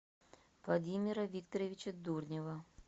владимира викторовича дурнева